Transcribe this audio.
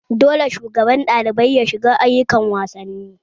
Dole shugaban ɗalibai ya shiga ayukan wasanni!